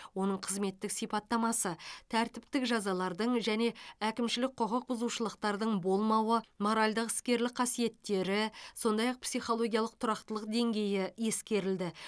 оның қызметтік сипаттамасы тәртіптік жазалардың және әкімшілік құқық бұзушылықтардың болмауы моральдық іскерлік қасиеттері сондай ақ психологиялық тұрақтылық деңгейі ескерілді